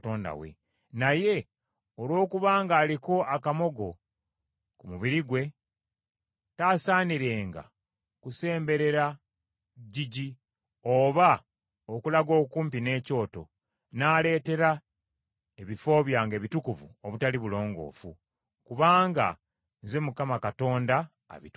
naye olwokubanga aliko akamogo ku mubiri gwe, taasaanirenga kusemberera ggigi, oba okulaga okumpi n’ekyoto, n’aleetera ebifo byange ebitukuvu obutali bulongoofu. Kubanga Nze Mukama Katonda abitukuza.”